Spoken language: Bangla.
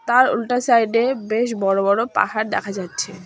তার উল্টা সাইডে বেশ বড়ো বড়ো পাহাড় দেখা যাচ্ছে।